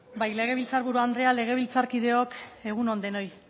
bai legebiltzar buru andrea legebiltzarkideok egun on denoi